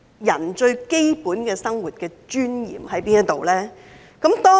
人最基本的生活尊嚴何在？